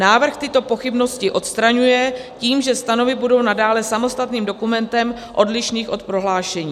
Návrh tyto pochybnosti odstraňuje tím, že stanovy budou nadále samostatným dokumentem odlišným od prohlášení.